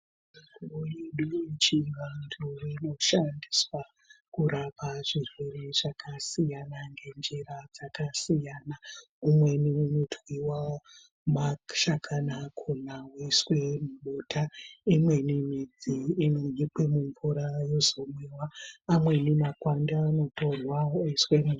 Mitombo yedu yechivantu inoshandiswa kurapa zvirwere zvakasiyana ngenjira dzakasiyana. Imweni mitombo inotwiwa mashakani akhona, yoiswe nubota. Imweni midzi inonyikwe mumvura yozomwiwa, amweni makwande anotorwa oiswe mu.....